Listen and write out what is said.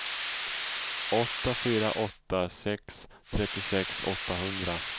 åtta fyra åtta sex trettiosex åttahundra